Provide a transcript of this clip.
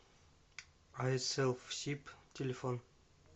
айселфсиб телефон